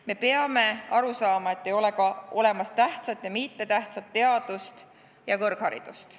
Me peame aru saama, et ei ole olemas tähtsat ja mittetähtsat teadust ja kõrgharidust.